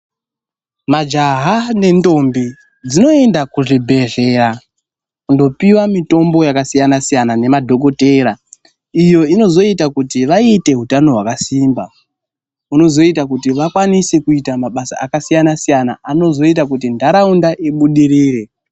Majaha nendombi dzinoenda kuzvibhedhlera, kundopiwa mitombo yakasiyana siyana nemadhokothera, iyo inozoita kuti vaite utano hwakasimba. Zvinozoita kuti vakwanise kuita mabasa akasiyana siyana, anozoita kuti ntaraunda ibudirire.